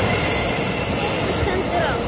Þegar betur stendur á